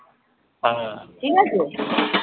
ঠিকাছে